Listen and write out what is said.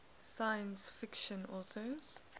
science fiction authors